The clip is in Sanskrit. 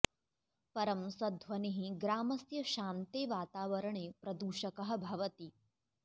परं स ध्वनिः ग्रामस्य शान्ते वातावरणे प्रदूषकः भवति